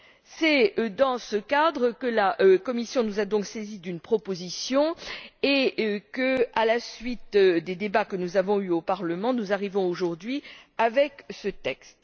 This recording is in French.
C'est dans ce cadre que la Commission nous a saisis d'une proposition et que, à la suite des débats que nous avons eus au Parlement, nous arrivons, aujourd'hui, à ce texte.